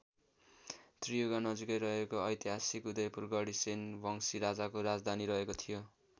त्रियुगा नजिकै रहेको ऐतिहासिक उदयपुर गढी सेन वंसी राजाको राजधानी रहेको थियो।